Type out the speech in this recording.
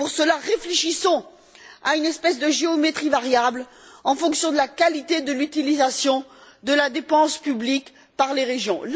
Pour cela, réfléchissons à une espèce de géométrie variable en fonction de la qualité de l'utilisation de la dépense publique par les régions.